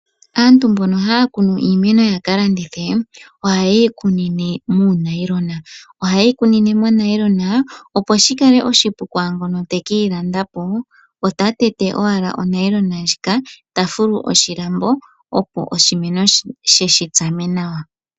Aantu mbono haya kunu iimeno yaka landithe ohaye yikunine muunayilona, ohaye yi kunine muunayilona opo shikale oshipu kwaangoka teke yi landa po ota tete owala onayilona ndjika tafulu oshilambo opo oshimeno she shitsame nawa.